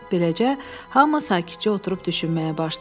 Beləcə, hamı sakitcə oturub düşünməyə başladı.